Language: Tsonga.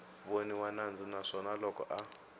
voniwa nandzu naswona loko a